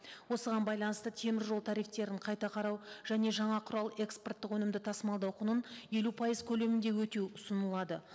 осыған байланысты теміржол тарифтерін қайта қарау және жаңа құрал экспорттық өнімді тасымалдау құнын елу пайыз көлемінде өтеу ұсынылады